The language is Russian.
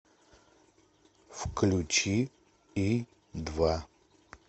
включи и два